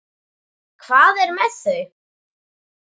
Hvað er með þau?